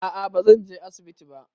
A'a bazan je asibiti ba